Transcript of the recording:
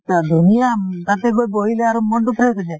মানে ধুনীয়া। তাতে গৈ বহিলে আৰু মন টো fresh হৈ যায় ।